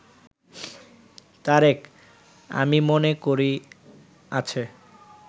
তারেক: আমি মনে করি আছে